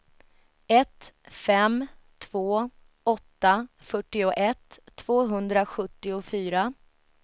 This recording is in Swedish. ett fem två åtta fyrtioett tvåhundrasjuttiofyra